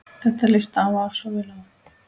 Þetta lýsir afa svo vel.